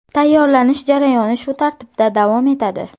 Tayyorlanish jarayoni shu tartibda davom etadi.